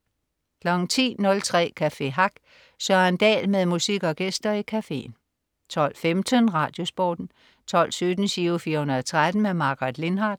10.03 Café Hack. Søren Dahl med musik og gæster i cafeen 12.15 RadioSporten 12.17 Giro 413. Margaret Lindhardt